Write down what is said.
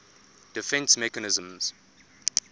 defence mechanism